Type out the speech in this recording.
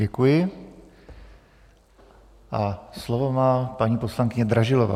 Děkuji a slovo má paní poslankyně Dražilová.